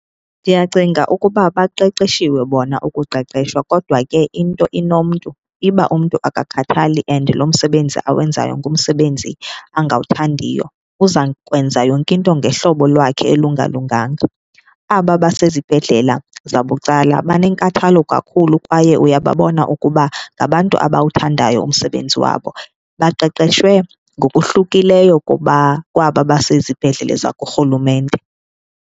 Ndiyacinga ukuba baqeqeshiwe bona ukuqeqeshwa kodwa ke into inomntu, iba umntu akakhathali and lo msebenzi awenzayo ngumsebenzi angawuthandiyo uzakwenza yonke into ngehlobo lwakhe olungalunganga. Aba basezibhedlela zabucala banenkathalo kakhulu kwaye uyababona ukuba ngabantu abawuthandayo umsebenzi wabo, baqeqeshwe ngokohlukileyo kwaba basezibhedlele zakurhulumente.